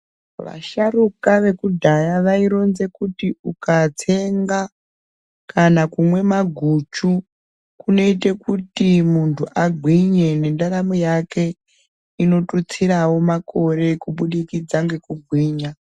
Vasharuka vekudhaya vaironza kuti ukatsenga kana kumwe maguchu kunoite kuti mundu agwinye nendaramo yake inotutsirawo makore kubudikidza ngekugwinya.